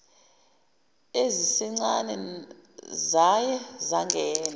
ezisencane zaye zangena